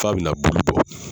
F'a bɛ na bulu bɔ.